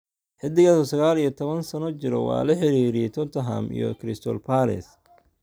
Xiddigaasi oo saqal iyo tawan sano jira waa la xiriiriyay Tottenham iyo Crystal Palace.